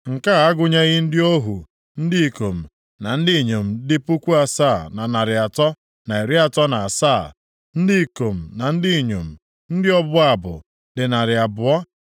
nke a agụnyeghị ndị ohu ndị ikom na ndị inyom dị puku asaa na narị atọ na iri atọ na asaa (7,337), ndị ikom na ndị inyom, ndị ọbụ abụ + 2:65 Tinyere ndị Livayị na-abụ abụ, e nwere ọtụtụ ndị ọzọ na-abụ abụ nʼoge mmemme dị iche iche, dịka nʼoge ọlụlụ nwanyị, na nʼoge mmemme olili, ya bụ ọnwụ. dị narị abụọ (200).